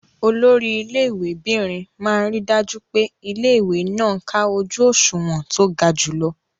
Olori ilé ìwé'bìnrin máa ríi dájú pé ilé-ìwé náà ká ojú òṣùwọ̀n tó ga jùlọ.